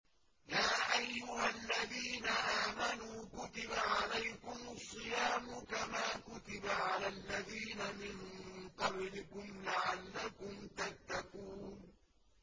يَا أَيُّهَا الَّذِينَ آمَنُوا كُتِبَ عَلَيْكُمُ الصِّيَامُ كَمَا كُتِبَ عَلَى الَّذِينَ مِن قَبْلِكُمْ لَعَلَّكُمْ تَتَّقُونَ